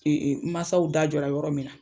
mansaw da jɔ yɔrɔ min na.